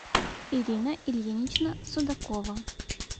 ирина ильинична судакова